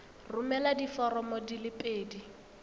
romela diforomo di le pedi